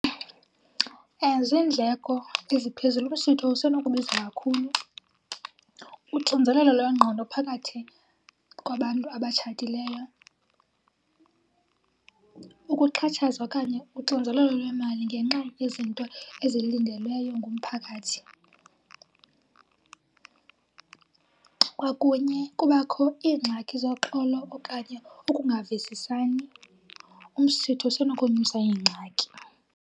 Ziindleko eziphezulu, umsitho usenokubiza kakhulu. Uxinzelelo lwengqondo phakathi kwabantu abatshatileyo, ukuxhatshazwa okanye uxinzelelo lwemali ngenxa yezinto ezilindelweyo ngumphakathi kwakunye kubakho iingxaki zoxolo okanye ukungavisisani. Umsitho usenokonyusa iingxaki.